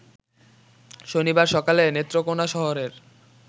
শনিবার সকালে নেত্রকোনা শহরের